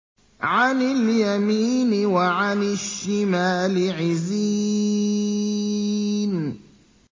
عَنِ الْيَمِينِ وَعَنِ الشِّمَالِ عِزِينَ